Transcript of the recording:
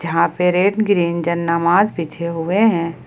यहां पर red green जान नमाज बिछे हुए हैं।